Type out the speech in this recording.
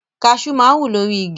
Kaṣú máa ń wù lórí igi.